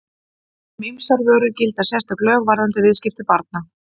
Um ýmsar vörur gilda sérstök lög varðandi viðskipti barna.